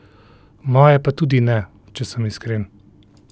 Moje pa tudi ne, če sem iskren.